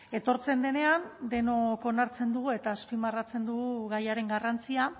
etortzen denean denok onartzen dugu eta azpimarratzen dugu gaiaren garrantzia